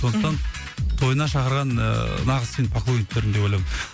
сондықтан тойына шақырған ыыы нағыз сенің поклонниктарың деп ойлаймын